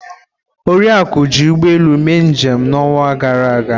Oriakụ ji ụgbọ elu mee njem n'ọnwa gara aga.